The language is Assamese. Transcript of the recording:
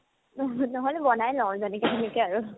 ন ~ নহ'লে হোৱা নাই নহ'ল মানে সেনেকা আৰু